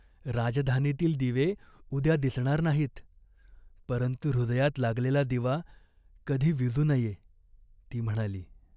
राजधानीतील दिवे उद्या दिसणार नाहीत, परंतु हृदयात लागलेला दिवा कधी विझू नये....." ती म्हणाली.